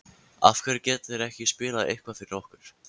af hverju geta þeir ekki spilað eitthvað fyrir okkur?